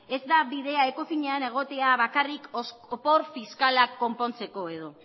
ez da bidea ecofinean egotea bakarrik opor fiskalak konpontzeko edo